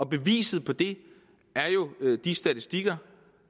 beviset på det er jo de statistikker